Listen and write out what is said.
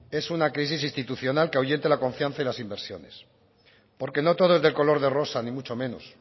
es una crisis institucional que ahuyente la confianza y las inversiones porque no todo es de color de rosa ni mucho menos